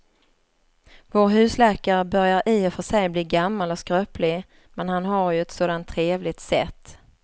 Vår husläkare börjar i och för sig bli gammal och skröplig, men han har ju ett sådant trevligt sätt!